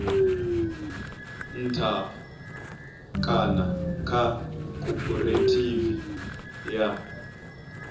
nṱha kana kha khophorethivi ya